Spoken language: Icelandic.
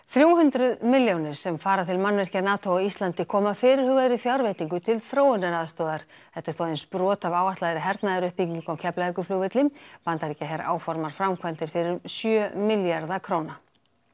þrjú hundruð milljónir sem fara til mannvirkja NATO á Íslandi koma af fyrirhugaðri fjárveitingu til þróunaraðstoðar þetta er þó aðeins brot af áætlaðri hernaðaruppbyggingu á Keflavíkurflugvelli Bandaríkjaher áformar framkvæmdir fyrir um sjö milljarða króna